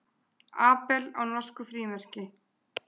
Abel á norsku frímerki.